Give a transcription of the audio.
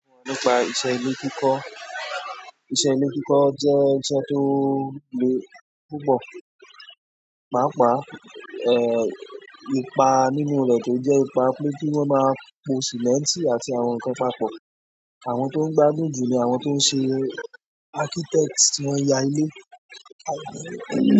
Ọ̀rọ̀ nípa iṣẹ́ ilé kíkọ. Iṣẹ́ ilé kíkọ jẹ́ iṣẹ́ tó le púpọ̀. Pàápàá ipá nínú rẹ kí jẹ ipá pé kí wọn máa pò cement àti àwọn nkán papọ̀. Àwọn tó ń gbádùn jù ni àwọn tó ń ṣe architect tí wọ́n yà ilé.